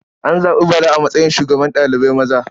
An zaɓi Bala a matsayin shugaban ɗalibai maza.